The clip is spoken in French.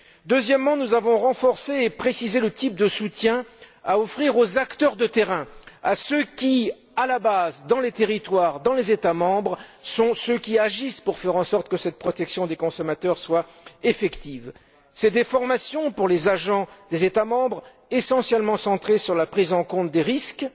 Deuxièmement, nous avons renforcé et précisé le type de soutien à offrir aux acteurs de terrain, à ceux qui, à la base, dans les territoires, dans les États membres, agissent pour faire en sorte que cette protection des consommateurs soit effective. Ce soutien se manifestera par des formations pour les agents des États membres essentiellement centrées sur la prise en compte des risques,